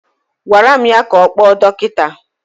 Agwara m ya ka ọ kpọọ dọkịta!